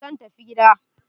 Zan tafi gida.